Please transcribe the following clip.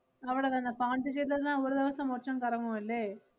അവടെ തന്നെ പോണ്ടിച്ചേരിലന്നെ ഒരു ദെവസം മൊച്ചം കറങ്ങുവല്ലേ?